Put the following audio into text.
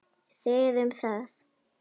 Þið um það!